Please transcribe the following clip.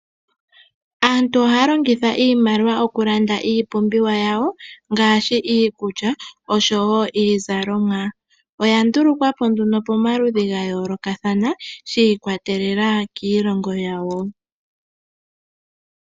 Aantu ohaya longitha iimaliwa okulanda iipumbiwa yawo ngaashi iikulya oshowo iizalomwa. Oya ndulukwa po pamaludhi ga yoolokathana shi ikwatelela kiilongo yawo.